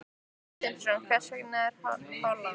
Sindri Sindrason: Hvers vegna Holland?